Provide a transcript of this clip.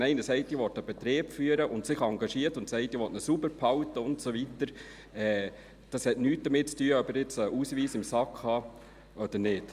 Wenn jemand sagt, ich will einen Betrieb führen und sich engagiert und sagt, ich will ihn sauber halten und so weiter, hat das nichts damit zu tun, ob er jetzt einen Ausweis in der Tasche hat oder nicht.